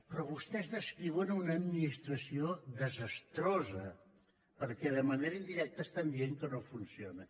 però vostès descriuen una administració desastrosa perquè de manera indirecta estan dient que no funciona